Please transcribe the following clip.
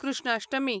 Krishnashtami